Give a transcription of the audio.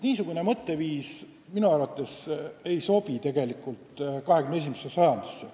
Niisugune mõtteviis ei sobi minu arvates 21. sajandisse.